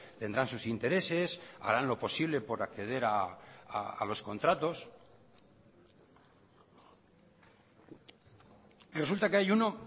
tendrán sus intereses harán lo posible por acceder a los contratos y resulta que hay uno